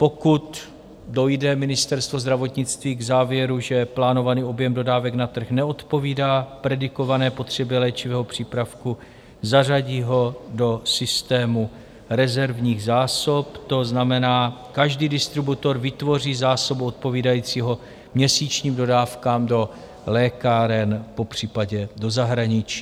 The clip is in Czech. Pokud dojde Ministerstvo zdravotnictví k závěru, že plánovaný objem dodávek na trh neodpovídá predikované potřebě léčivého přípravku, zařadí ho do systému rezervních zásob, to znamená, každý distributor vytvoří zásobu odpovídající měsíčním dodávkám do lékáren, popřípadě do zahraničí.